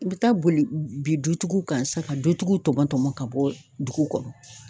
U be taa boli bin dutigiw kan sisan ka dutigiw tɔmɔ tɔmɔ ka bɔ dugu kɔnɔ